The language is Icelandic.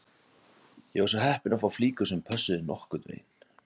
Ég var svo heppinn að fá flíkur sem pössuðu nokkurn veginn